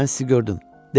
Mən sizi gördüm.